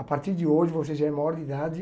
A partir de hoje você já é maior de idade.